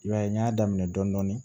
I b'a ye n y'a daminɛ dɔɔnin dɔɔnin